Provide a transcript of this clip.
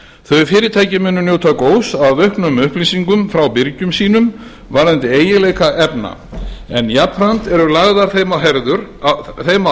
þau fyrirtæki munu njóta góðs af auknum upplýsingum frá birgjum sínum varðandi eiginleika efna en jafnframt eru lagðar þeim á